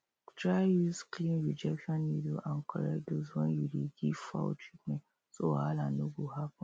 try use clean injection needle and correct dose when you dey give fowl treatment so wahala no go happen